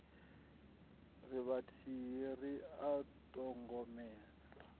ri vhathihi ri a ṱhogomela